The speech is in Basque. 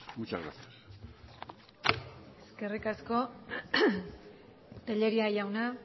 muchas gracias eskerrik asko tellería jauna